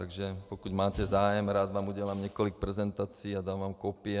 Takže pokud máte zájem, rád vám udělám několik prezentací a dám vám kopie.